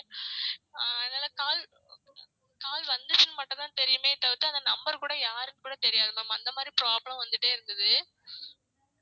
ஆஹ் அதுனால call call வந்துச்சின்னு மட்டும் தான் தெரியுமே தவிர்த்து அந்த number கூட யாருக்குன்னு கூட தெரியாது ma'am அந்த மாதிரி problem வந்துட்டே இருந்தது